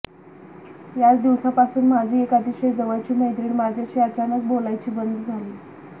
याच दिवसापासून माझी एक अतिशय जवळची मैत्रीण माझ्याशी अचानक बोलायची बंद झाली